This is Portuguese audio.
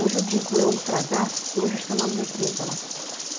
Hoje eu digo ultragás, porque hoje acho que é o nome da empresa lá.